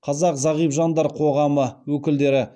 қазақ зағип жандар қоғамы өкілдері